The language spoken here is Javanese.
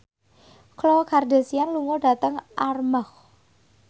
Khloe Kardashian lunga dhateng Armargh